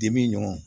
Dimi ɲɔgɔn